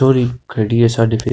छोरी खड़ी है साढ़े पे --